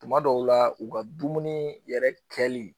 Tuma dɔw la u ka dumuni yɛrɛ kɛli